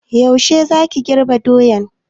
Yaushe za ka girbe doyan?